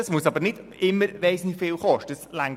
Es muss aber nicht immer sehr viel sein.